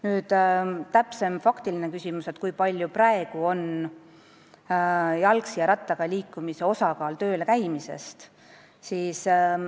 Nüüd täpsemast faktilisest küsimusest, kui suur on praegu jalgsi ja rattaga tööl käimise osakaal.